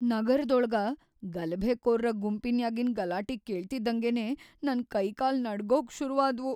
ನಗರ್‌ದೊಳಗ ಗಲಭೆಕೋರ್ರ ಗುಂಪ್‌ನ್ಯಾಗಿನ್ ಗಲಾಟಿ ಕೇಳ್ತಿದ್ದಂಗೆನೆ ನನ್‌ ಕೈಕಾಲ್ ನಡ್ಗೋಕ್‌ ಶುರು ಆದ್ವು.